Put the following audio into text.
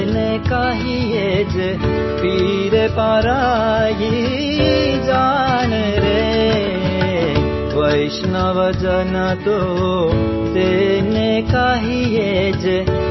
song